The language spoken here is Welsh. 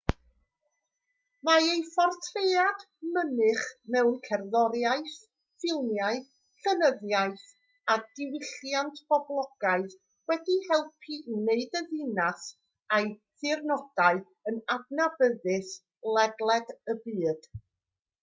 mae ei phortread mynych mewn cerddoriaeth ffilmiau llenyddiaeth a diwylliant poblogaidd wedi helpu i wneud y ddinas a'i thirnodau yn adnabyddus ledled y byd